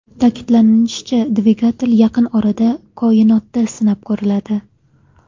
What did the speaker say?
Ta’kidlanishicha, dvigatel yaqin orada koinotda sinab ko‘riladi.